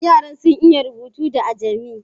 Yaran sun iya rubutu da ajami?